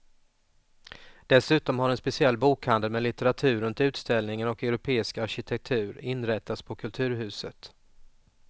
Dessutom har en speciell bokhandel med litteratur runt utställningen och europeisk arkitektur inrättats på kulturhuset.